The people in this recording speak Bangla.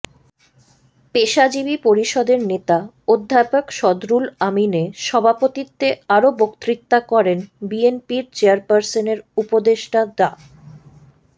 পেশাজীবী পরিষদের নেতা অধ্যাপক সদরুল আমিনে সভাপতিত্বে আরও বক্তৃতা করেন বিএনপির চেয়ারপারসনের উপদেষ্টা ডা